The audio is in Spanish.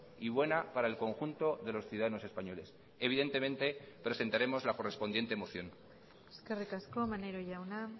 y buena para el conjunto de los ciudadanos españoles evidentemente presentaremos la correspondiente moción eskerrik asko maneiro jauna